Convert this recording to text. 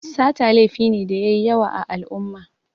Sata laifi ne da yayi yawa a al'umma